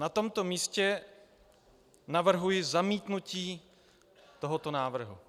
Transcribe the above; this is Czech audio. Na tomto místě navrhuji zamítnutí tohoto návrhu.